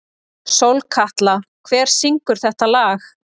Sólkatla, hver syngur þetta lag?